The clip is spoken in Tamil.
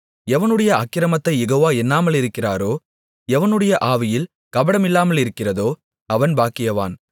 எவனுடைய அக்கிரமத்தைக் யெகோவா எண்ணாமலிருக்கிறாரோ எவனுடைய ஆவியில் கபடமில்லாதிருக்கிறதோ அவன் பாக்கியவான்